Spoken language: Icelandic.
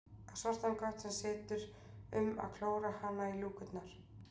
Á svartan kött sem situr um að klóra hana í lúkurnar.